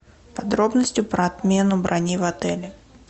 подробности про отмену брони в отеле